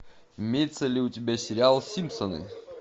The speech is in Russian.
имеется ли у тебя сериал симпсоны